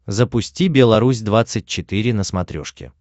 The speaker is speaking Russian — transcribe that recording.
запусти белорусь двадцать четыре на смотрешке